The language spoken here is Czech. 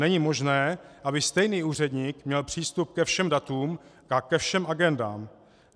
Není možné, aby stejný úředník měl přístup ke všem datům a ke všem agendám.